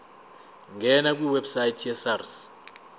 ngena kwiwebsite yesars